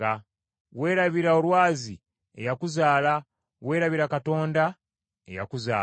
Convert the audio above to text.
Weerabira Olwazi eyakuzaala, weerabira Katonda eyakuzaala.